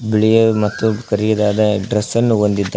ಬಿಳಿ ಮತ್ತು ಕರಿದಾದ ಡ್ರೆಸ್ ಅನ್ನು ಹೊಂದಿದ್ದಾ--